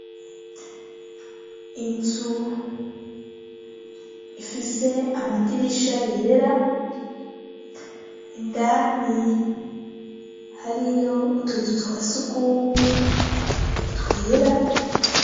Inzu ifise amadirisha yera ,indani hariyo utuzu twasugumwe twera.